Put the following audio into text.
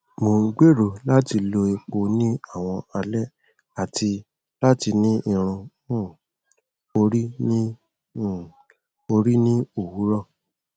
mo n gbero lati lo epo ni awọn alẹ ati lati ni irun um ori ni um ori ni owurọ